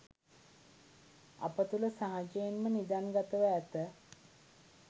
අප තුළ සහජයෙන්ම නිධන්ගතව ඇත